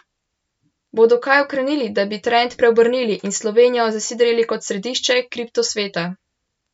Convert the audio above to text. Bodo kaj ukrenili, da bi trend preobrnili in Slovenijo zasidrali kot središče kriptosveta?